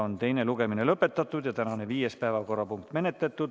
Teine lugemine on lõpetatud ja tänane viies päevakorrapunkt menetletud.